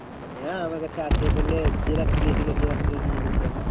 হ্যাঁ আমার কাছে আছে তাহলে xerox দিয়েছিলো xerox করিয়ে নিয়ে নিয়েছি আমি।